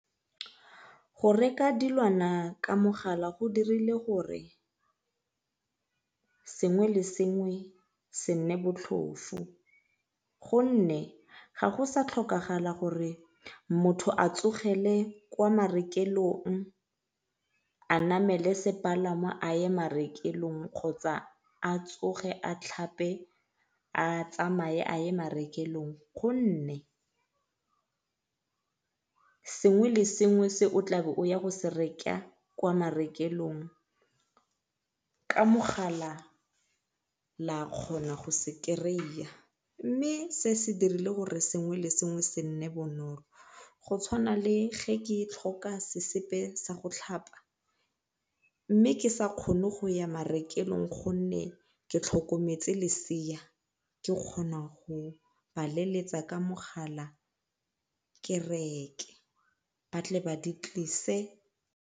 Go reka dilwana ka mogala go dirile gore sengwe le sengwe se nne botlhofu gonne ga go sa tlhokagala gore motho a tsogele kwa marekelong a namele sepalamo a ye marekelong kgotsa a tsoge a tlhape a tsamaye a ye marekelong, gonne sengwe le sengwe se o tlabeng o ya go se reka ko marekelong ka mogala la kgona go se kry-iya mme se se dirile gore sengwe le sengwe se nne bonolo. Go tshwana le ge ke sena sa go tlhapa mme ke sa kgone go ya marekelong gonne ke tlhokometse lesea ke kgona go ba leletsa ka mogala ke reke ba tle ba di tlise.